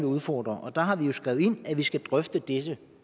udfordre der har vi jo skrevet ind at vi skal drøfte dette